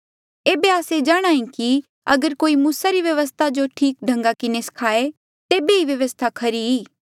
एेबे आस्से जाणहां ऐें कि अगर कोई मूसा री व्यवस्था जो ठीक ढंगा किन्हें स्खाये तेबे ही ये व्यवस्था खरी ई